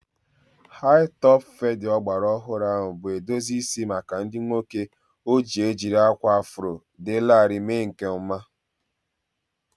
Hi-topụ fedi ọgbara ọhụrụ bụ edozi isi maka ndị nwoke ojii ejiri akwa afro dị larịị mee nke ọma